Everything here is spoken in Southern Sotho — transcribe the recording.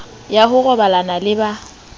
ya ho robalana le ba